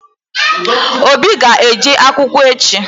Obi ga-eje akwụkwọ echi.